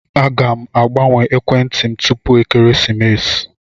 Aga m agbanwe ekwentị m tupu ekeresimesi.